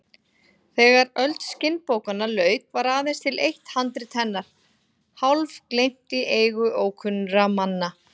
Þegar öld skinnbókanna lauk var aðeins til eitt handrit hennar, hálfgleymt í eigu ókunnra manna.